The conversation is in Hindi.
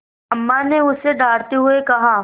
अम्मा ने उसे डाँटते हुए कहा